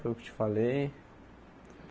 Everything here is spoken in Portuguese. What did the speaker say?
Foi o que eu te falei.